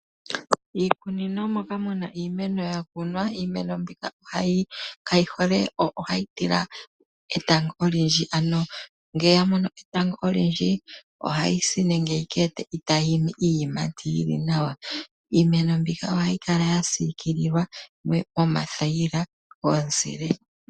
Miikunino moka muna iimeno ya kunwa, iimeno mbika ohayi tila etango olindji ano ngele ya mono etango olindji ohayi si nenge yi ke ete itaa yi imi iiyimati yili nawa. Iimeno mbika ohayi kala ya siikililwa moonete dhomuzile.